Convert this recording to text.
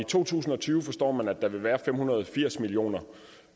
to tusind og tyve forstår man vil der være fem hundrede og firs million kr